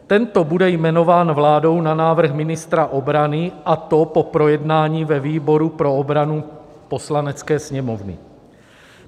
Tento bude jmenován vládou na návrh ministra obrany, a to po projednání ve výboru pro obranu Poslanecké sněmovny.